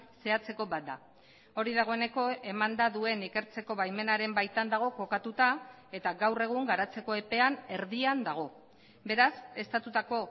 zehatzeko bat da hori dagoeneko emanda duen ikertzeko baimenaren baitan dago kokatuta eta gaur egun garatzeko epean erdian dago beraz estatutako